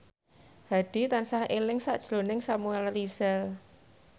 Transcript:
Hadi tansah eling sakjroning Samuel Rizal